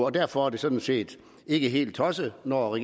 og derfor er det sådan set ikke helt tosset når